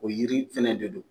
O yiri fɛnɛ de don